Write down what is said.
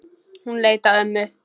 Hún leit á ömmu.